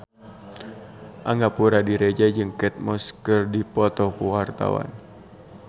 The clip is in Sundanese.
Angga Puradiredja jeung Kate Moss keur dipoto ku wartawan